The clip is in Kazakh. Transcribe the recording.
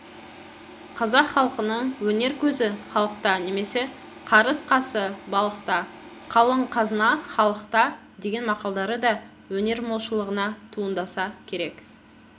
қазақ халқының өнер көзі-халықта немесе қарыс қазы-балықта қалың қазына халықта деген мақалдары да өнер молшылығына туындаса керек